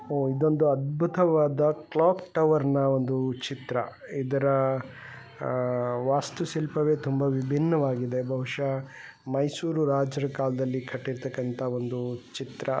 ಹೊ ಇದೊಂದು ಅದ್ಬುತ್ತವಾದ ಕ್ಲಾಕ್ ಟವರ್ನ್ ಒಂದು ಚಿತ್ರ. ಇದರ ಆ ವಾಸ್ತು ಶಿಲ್ಪವೆ ತುಂಬಾ ವಿಭಿನ್ನವಾಗಿದೆ. ಬಹುಷಃ ಮೈಸೂರು ರಾಜರ ಕಾಲದಲ್ಲಿ ಕಟ್ಟಿರ್ತಕ್ಕಂತ ಒಂದು ಚಿತ್ರ.